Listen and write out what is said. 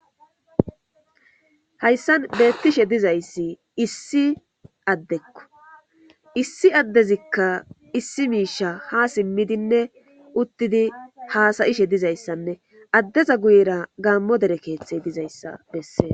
Haysan betishe dizaysi issi adeko, issi adezika issi misha ha simidinne utid hasa'ishe dizaysanne adeza guyera gaamo dere kethey dizaysa beses.